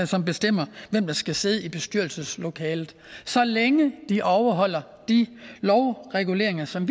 som bestemmer hvem der skal sidde i bestyrelseslokalet så længe de overholder de lovreguleringer som